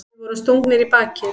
Við vorum stungnir í bakið.